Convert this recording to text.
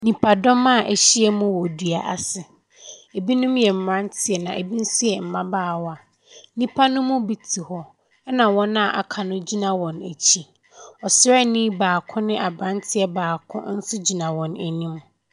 Nnipadɔm a ahyia mu wɔ dua ase, binom yɛ mmeranteɛ na binom nso yɛ mmabaawa. Nnipa ne mu bi te hɔ na wɔn aka no gyina wɔn akyi. Ɔsraani baako ne aberanteɛ baako nso gyina wɔn anim.